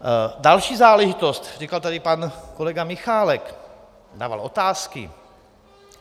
Další záležitost, říkal tady pan kolega Michálek, dával otázky.